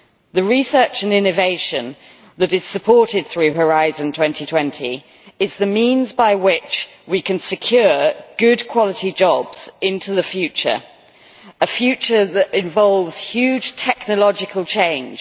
The research and innovation that is supported through Horizon 2020 is the means by which we can secure good quality jobs into the future a future that involves huge technological change.